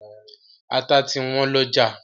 Ata ti wọ́n lọ́jà.